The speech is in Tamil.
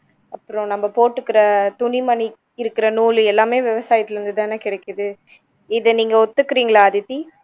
அப்பறம் நம்ம போட்டுக்கிற துணிமணி இருக்கிற நூலு எல்லாமே விவசாயத்துல இருந்து தானே கிடைக்குது இதை நீங்க ஒத்துக்குறீங்களா அதித்தி